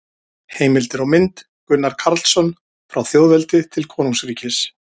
Heimildir og mynd: Gunnar Karlsson: Frá þjóðveldi til konungsríkis